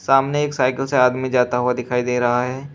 सामने एक साइकिल से आदमी जाता हुआ दिखाई दे रहा है।